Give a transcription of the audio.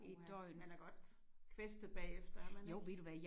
Uha man er god kvæstet bagefter er man ikke?